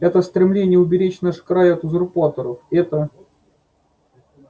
это стремление уберечь наш край от узурпаторов это